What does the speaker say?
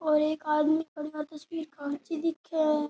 और एक आदमी परिवार की तस्वीर खांची दिख।